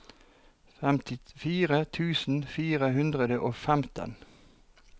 femtifire tusen fire hundre og femten